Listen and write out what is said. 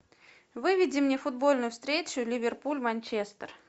выведи мне футбольную встречу ливерпуль манчестер